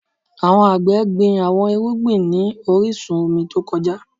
Awọn agbẹ gbin awọn irugbin irugbin ni orisun omi to kọja